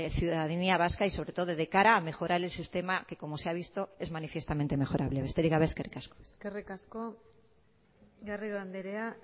ciudadanía vasca y sobre todo de cara a mejorar el sistema que como se ha visto es manifiestamente mejorable besterik gabe eskerrik asko eskerrik asko garrido andrea